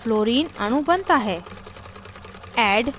fluorine अणु बनता है